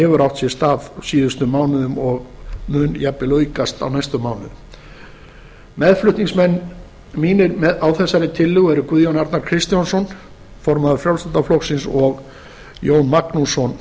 hefur átt sér stað á síðustu mánuðum og mun jafnvel aukast á næstu mánuðum meðflutningsmenn mínir á þessari tillögu eru háttvirtir þingmenn guðjón a kristjánsson formaður frjálslynda flokksins og jón magnússon